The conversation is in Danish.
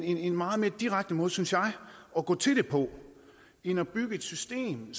en meget mere direkte måde synes jeg at gå til det på end at bygge et system